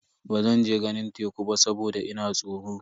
Bazan je ganin teku ba saboda ina tsoro.